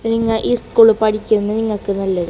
നിങ്ങ ഈ സ്കൂളിൽ പഠിച്ചോണ്ട് നിങ്ങക്ക് നല്ലത്.